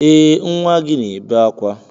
Ee nwa gị na-ebe akwa